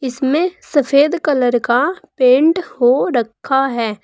इसमें सफेद कलर का पेंट हो रखा है।